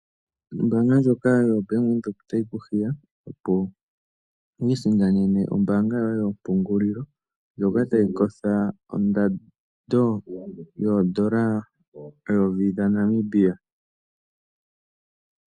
Ombaanga ndjoka yoBank Windhoek otayi ku hiya, opo wu isindanene ombaanga yoye yompungulilo ndjoka tayi kotha ondando yooN$ 1000.